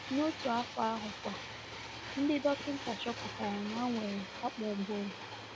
N’otu afọ ahụkwa, ndị dọkịnta chọpụtara na m nwere akpụ ụbụrụ.